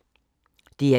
DR1